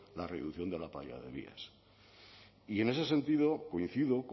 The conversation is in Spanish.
la reducción de la playa de vías y en ese sentido coincido